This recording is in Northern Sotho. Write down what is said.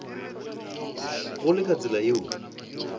go le ka tsela yeo